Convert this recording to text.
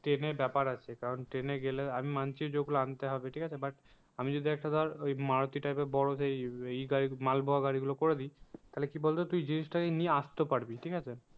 ট্রেনের ব্যাপার আছে কারণ ট্রেনে গেলে আমি মানছি যে ওগুলো আনতে হবে ঠিক আছে but আমি যদি একটা ধর ওই মারুতি type এর বড়ো সেই মাল বোয়া গাড়ি গুলো করে দিই তাহলে কি বলতো তুই জিনিসটাকে নিয়ে আসতেও পারবি ঠিক আছে।